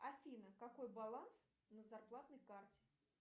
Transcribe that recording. афина какой баланс на зарплатной карте